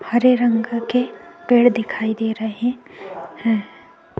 हरे रंग के पेड़ दिखाई दे रहे हैं।